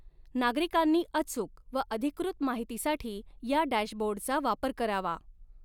नागरिकांनी अचुक व अधिकृत माहितीसाठी या डॅशबोर्डचा वापर करावा.